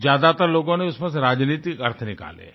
ज्यादातर लोगों ने उसमें से राजनीतिक अर्थ निकाले हैं